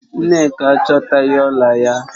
Nneka achotaghi ọla ya